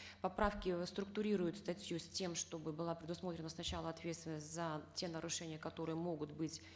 поправки реструктурируют статью с тем чтобы была предусмотрена сначала ответственность за те нарушения которые могут быть